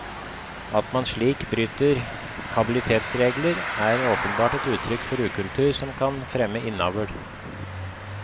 At man slik bryter habilitetsregler, er åpenbart et uttrykk for ukultur, som kan fremme innavl.